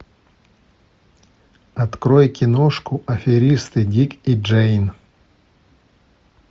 открой киношку аферисты дик и джейн